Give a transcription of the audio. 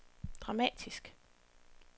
dramatisk